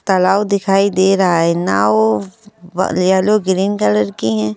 तालाव दिखाई दे रहा है नाव यलो ग्रीन कलर की हैं।